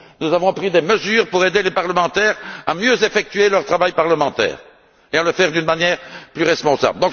Nous avons pris des mesures pour aider les députés à mieux effectuer leur travail parlementaire et à le faire d'une manière plus responsable.